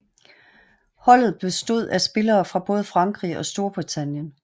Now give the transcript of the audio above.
Holdet bestod af spillere fra både Frankrig og Storbritannien